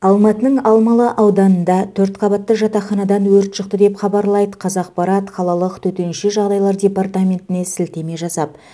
алматының алмалы ауданында төрт қабатты жатақханадан өрт шықты деп хабарлайды қазақпарат қалалық төтенше жағдайлар департаментіне сілтеме жасап